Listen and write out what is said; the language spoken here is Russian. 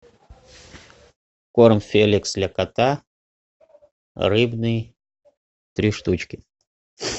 корм феликс для кота рыбный три штучки